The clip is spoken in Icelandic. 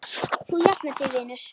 Þú jafnar þig vinur.